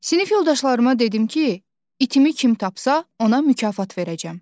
Sinif yoldaşlarıma dedim ki, itimi kim tapsa, ona mükafat verəcəm.